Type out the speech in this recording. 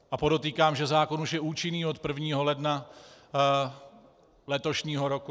A podotýkám, že zákon už je účinný od 1. ledna letošního roku.